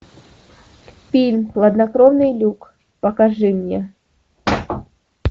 фильм хладнокровный люк покажи мне